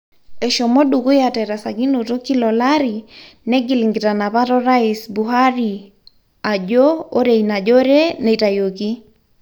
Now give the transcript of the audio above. Eshomo dukuya terasakinoto kila olari ,negil nkitanapat orais Buhari ajo ore ina jore neitayioki.